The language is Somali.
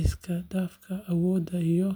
isku dhafka awood iyo.